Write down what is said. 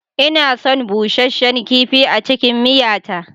Ina son busheshen kifi a cikin miya ta.